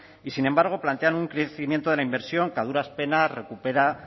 y sin embargo plantean un crecimiento de la inversión que a duras penas recupera